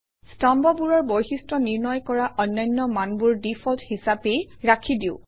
স্তম্ভবোৰৰ বৈশিষ্ট্য নিৰ্ণয় কৰা অন্যান্য মানবোৰ ডিফল্ট হিচাপেই ৰাখি দিওঁ